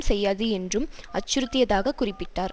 செய்யாது என்றும் அச்சுறுத்தியதாகக் குறிப்பிட்டார்